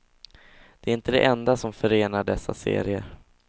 Det är inte det enda som förenar dessa serier.